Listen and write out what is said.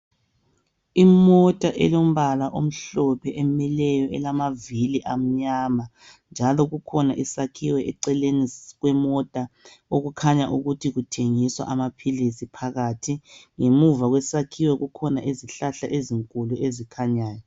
Imota elombala omhlophe emileyo elamavili amnyama. Njalo kukhona isakhiwo eceleni kwemota okukhanya ukuthi kuthengiswa amaphilisi phakathi. Ngemuva kwesakhiwo kukhona izihlahla ezinkulu ezikhanyayo.